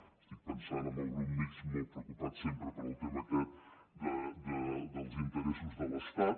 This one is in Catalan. estic pensant en el grup mixt molt preocupat sempre pel tema aquest dels interessos de l’estat